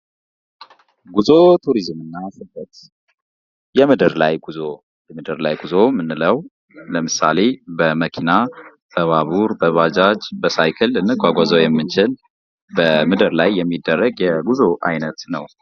ጉዞ ፣ ቱሪዝም እና ስደት ፦ የምድር ላይ ጉዞ ፦ የምድር ላይ ጉዞ የምንለው ምሳሌ በመኪና ፣ በባቡር ፣ በባጃጅ ፣ በሳይክል ልንጓጓዘው የምንችል በምድር ላይ የሚደረግ የጉዞ ዓይነት ነው ።